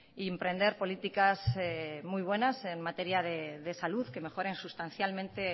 y emprender políticas muy buenas en materia de salud que mejoren sustancialmente en